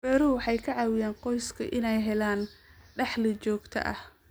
Beeruhu waxay ka caawiyaan qoyska inay helaan dakhli joogto ah.